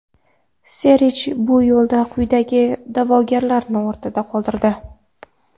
Serj bu yo‘lda quyidagi da’vogarlarni ortda qoldirdi: !